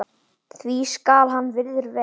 því skal hann virður vel.